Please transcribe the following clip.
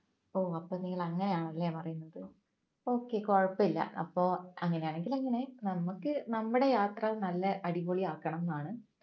ഓ അപ്പം നിങ്ങൾ അങ്ങനെയാണല്ലേ പറയുന്നത് okay കൊഴപ്പമില്ല അപ്പോ അങ്ങനെയാണെങ്കിൽ അങ്ങനെ നമുക്ക് നമ്മുടെ യാത്ര നല്ല അടിപൊളി ആക്കണംന്നാണ്